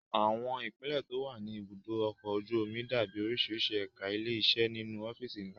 Àwọn ipele tó wà ní ibùdó ọkọ̀ ojú omi dàbí oríṣiríṣi ẹ̀ka ilé iṣẹ́ nínú ọ́fíìsì ńlá